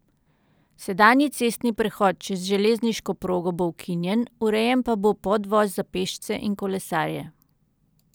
Sedanji cestni prehod čez železniško progo bo ukinjen, urejen pa bo podvoz za pešce in kolesarje.